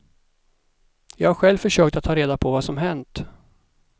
Jag har själv försökt att ta reda på vad som hänt.